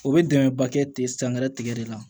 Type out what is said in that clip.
O bɛ dɛmɛba kɛ ten sangɛrɛ tigɛ de la